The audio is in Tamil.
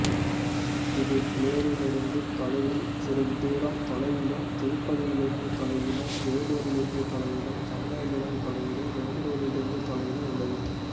இது பிலேரிலிருந்து தொலைவிலும் சித்தூரிலிருந்து தொலைவிலும் திருப்பதியிலிருந்து தொலைவிலும் வேலூரிலிருந்து தொலைவிலும் சென்னையிலிருந்து தொலைவிலும் பெங்களூரிலிருந்து தொலைவிலும் உள்ளது